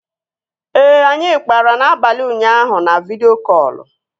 Ee, anyị kpara n'abalị ụnyaahụ na vidịo kọlụ